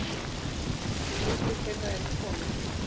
Vaxandi hluti þeirra er konur.